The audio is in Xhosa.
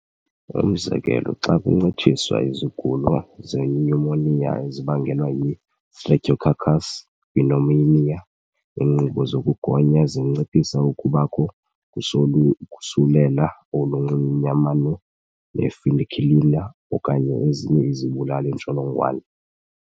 Umzekelo, xa kuncitshiswa izigulo zenyumoniya ezibangelwa yi-Streptococcus pneumoniae, iinkqubo zokugonya zinciphisa ukubakho kosulela olunxunyamane ne-penicillin okanye ezinye izibulali-ntsholongwane.